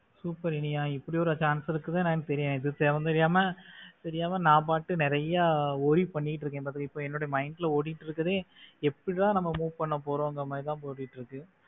super Iniya இப்படி ஒரு chance இருக்குன்னு எனக்கு தெரியாது இது தெரியாம இது தெரியாம நான் பாட்டுக்கு நிறைய worry பண்ணிட்டு இருக்க இப்ப என்னுடைய mind ல ஓடிட்டு இருக்கிறது எப்படிதான் நம்ம move பண்ண போறோம்ன்னு தான் ஓடிட்டு இருக்கு.